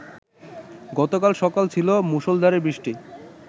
গতকাল সকালে ছিল মুষলধারে বৃষ্টি